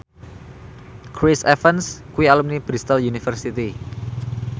Chris Evans kuwi alumni Bristol university